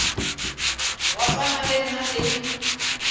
go swana le nna le